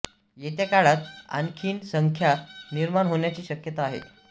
येत्या काळात आणखीन संस्था निर्माण होण्याची शक्यता आहे